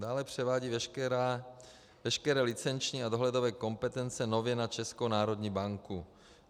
Dále převádí veškeré licenční a dohledové kompetence nově na Českou národní banku.